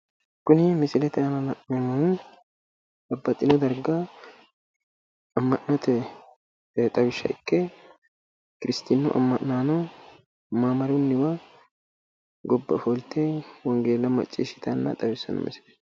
Kuni misilete aana la'neemmohu Babbaxxino darga kiristinnu amma'naano maamru darga gobba ofolte wongeella maccishshitanna xawissanno misileet